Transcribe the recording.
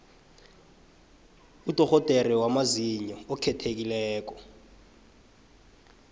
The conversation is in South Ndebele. udorhodere wamazinyo okhethekileko